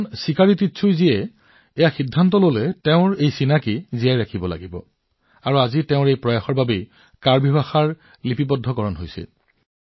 শ্ৰীযুত চিকাৰী তিচৌৱে তেওঁৰ পৰিচয় ৰক্ষা কৰাৰ সিদ্ধান্ত লৈছিল আৰু আজি তেওঁৰ প্ৰচেষ্টাই কাৰ্বি ভাষাত যথেষ্ট নথিপত্ৰৰ সৃষ্টি কৰিছে